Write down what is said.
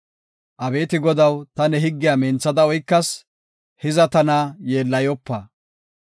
Abeeti Godaw, ta ne higgiya minthada oykas; hiza tana yeellayopa!